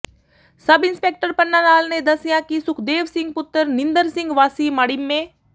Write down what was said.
ਸਬ inspector Panna Lal ਨੇ ਦੱਸਿਆ ਕਿ ਸੁਖਦੇਵ ਸਿੰਘ ਪੁੱਤਰ ਨਿੰਦਰ ਸਿੰਘ ਵਾਸੀ ਮਾੜੀਮੇ